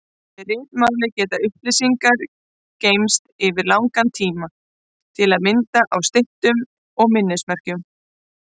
Með ritmáli geta upplýsingar geymst yfir langan tíma, til að mynda á styttum og minnismerkjum.